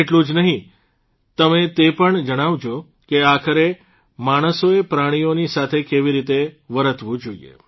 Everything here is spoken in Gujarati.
તેટલું જ નહિં તમે તે પણ જણાવજો કે આખરે માણસોએ પ્રાણીઓની સાથે કેવી રીતે વર્તવું જોઇએ